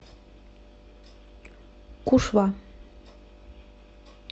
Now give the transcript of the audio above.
кушва